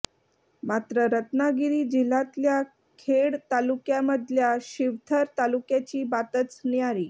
मात्र रत्नागिरी जिल्ह्यातल्या खेड तालुक्यामधल्या शिवथर तालुक्याची बातच न्यारी